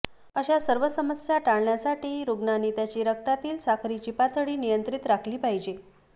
अशा सर्व समस्या टाळण्यासाठी रुग्णाने त्याची रक्तातील साखरेची पातळी नियंत्रित राखली पाहिजे